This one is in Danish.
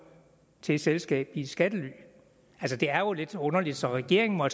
til et selskab i skattely det er jo lidt underligt så regeringen må